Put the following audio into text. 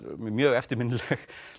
mjög eftirminnilegar